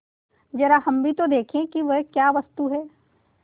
जरा हम भी तो देखें कि वह क्या वस्तु है